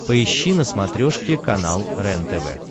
поищи на смотрешке канал рентв